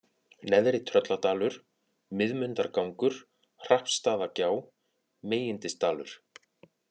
Neðri-Trölladalur, Miðmundargangur, Hrappsstaðagjá, Migindisdalur